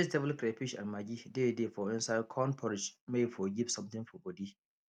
vegetable crayfish and maggi dey dey for inside corn porridge may e for give something for body